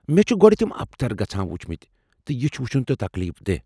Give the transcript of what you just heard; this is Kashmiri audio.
مےٚ چھِ گۄڈٕ تِم ابتر گژھان وُچھِمٕتۍ ، تہٕ یہِ وُچُھن چُھ تکلیف دیہہ ۔